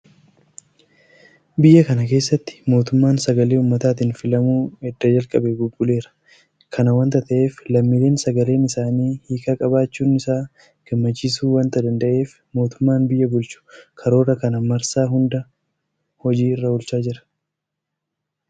Biyya kana keessatti mootummaan sagalee uummataatiin filamuu edda jalqabee bubbuleera. Kana waanta ta'eef lammiileen sagaleen isaanii hiika qabaachuun isaa gammachiisuu waanta danda'eef mootummaan biyya bulchu karoora kana marsaa hunda hojii irra oolchaa jira.